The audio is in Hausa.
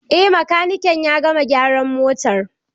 Eh makanikin ya gama gyaran motar.